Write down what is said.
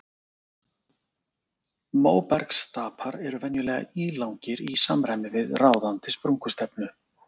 Móbergsstapar eru venjulega ílangir í samræmi við ráðandi sprungustefnu.